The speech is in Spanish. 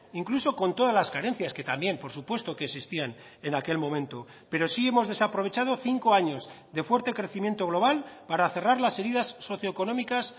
incluso con todas las carencias que también por supuesto que existían en aquel momento pero sí hemos desaprovechado cinco años de fuerte crecimiento global para cerrar las heridas socioeconómicas